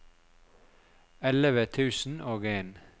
elleve tusen og en